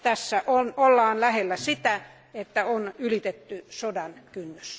Tässä ollaan lähellä sitä, että on ylitetty sodan kynnys.